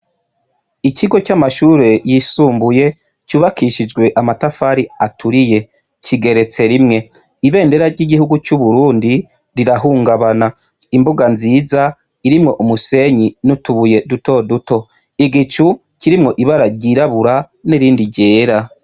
Ikigo c'amashuri yisumbuye cubakishijwe amatafari aturiye, kigeretse rimwe. Ibendera ry'igihugu c'Uburundi rirahungabana; imbuga nziza irimwo umusenyi n'utubuye duto duto; igicu kirimwo ibara ryirabura n'irindi ryera.